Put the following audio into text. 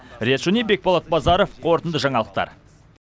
риат шони бекболат базаров қорытынды жаңалықтар